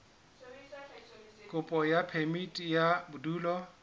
kopo ya phemiti ya bodulo